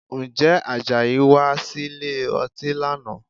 Ǹjẹ́ Àjàyí wá sílè ọtí lánàá?